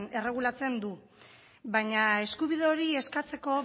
erregulatzen du baina eskubide hori eskatzeko